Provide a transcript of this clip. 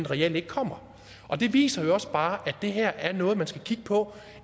reelt ikke kommer og det viser jo også bare at det her er noget man skal kigge på